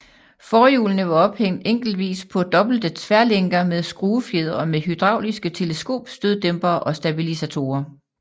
Forhjulene var ophæng enkeltvis på dobbelte tværlænker med skruefjedre og med hydrauliske teleskopstøddæmpere og stabilisatorer